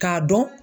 K'a dɔn